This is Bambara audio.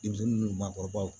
Denmisɛnnin ni maakɔrɔbaw